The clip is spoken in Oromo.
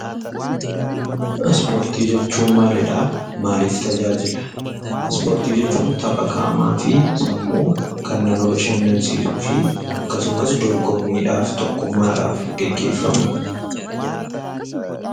Ispoorti jechuun maalidha; maalif tajaajila? Ispoorti jechuun tapha qaamaafi sammuu Kan nama baashanansisuufi akkasumas dorgoomidhaaf, tokkummaadhaf geggeefamuudha